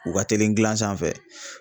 U ka teli gilan sanfɛ.